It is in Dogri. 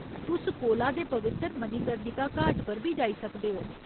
तुस कोला दे पवित्तर मणिकर्णिका घाट पर बी जाई सकदे ओ।